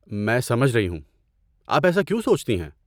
میں سمجھ رہی ہو۔ آپ ایسا کیوں سوچتی ہیں؟